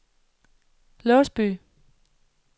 Låsby